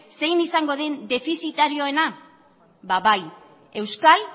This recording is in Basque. zein izango den defizitarioena ba bai euskal